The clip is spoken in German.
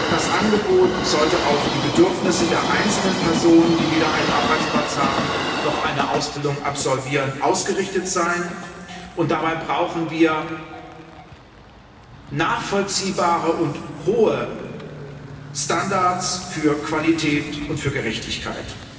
Das Angebot sollte auf die Bedürfnisse der einzelnen Personen, die weder einen Arbeitsplatz haben noch eine Ausbildung absolvieren, ausgerichtet sein, und dabei brauchen wir nachvollziehbare und hohe Standards für Qualität und für Gerechtigkeit.